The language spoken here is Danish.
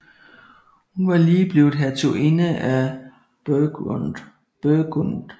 Hun var lige blevet hertuginde af Burgund